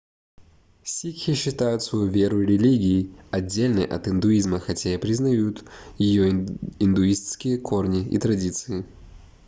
сикхи считают свою веру религией отдельной от индуизма хотя и признают её индуистские корни и традиции